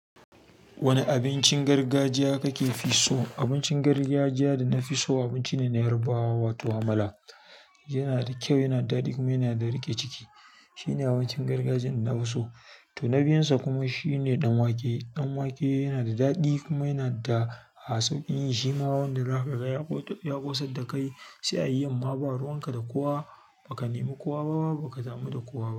Wani abincin gargajiya kake fi so? Abincin gargajiya da na fi so abinci ne na Yarbawa, wato amala. Yana da kyau yana da daɗi kuma yana da riƙe ciki shine abincin gargajiyan da nafi so. To na biyun sa kuma shine dan wake. Ɗan wake yana da daɗi kuma yana da sauƙin yi shima wanda zaka ga ya ƙosar da kai sai ayi yamma ba ruwan ka da kowa ba ka nemi kowa bama ba ka damu da kowa ba.